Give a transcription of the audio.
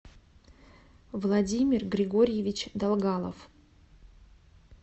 владимир григорьевич долгалов